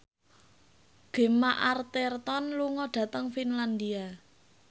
Gemma Arterton lunga dhateng Finlandia